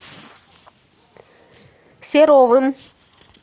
серовым